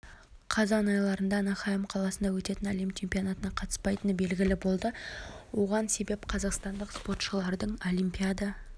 қазан аралығында анахайм қаласында өтетін әлем чемпионатына қатыспайтыны белгілі болды оған себеп қазақстандық спортшылардың олимпиада